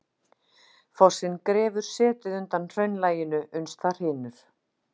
Fossinn grefur setið undan hraunlaginu uns það hrynur.